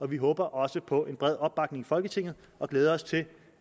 vi håber også på en bred opbakning i folketinget og glæder os til